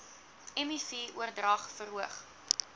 miv oordrag verhoog